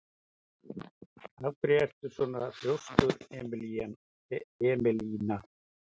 Af hverju ertu svona þrjóskur, Emelína?